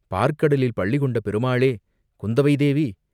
பாற்கடலில் பள்ளிகொண்ட பெருமாளே குந்தவை தேவி